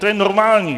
To je normální.